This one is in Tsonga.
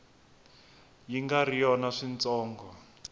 yi nga ri yona switsongo